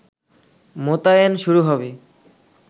মোতায়েন শুরু হবে